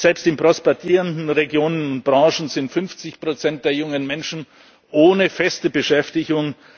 fort. Selbst in prosperierenden Regionen und Branchen sind 50 der jungen Menschen ohne feste Beschäftigung.